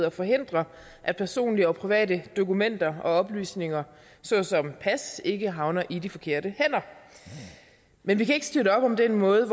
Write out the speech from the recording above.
og forhindre at personlige og private dokumenter og oplysninger såsom pas ikke havner i de forkerte hænder men vi kan ikke støtte op om den måde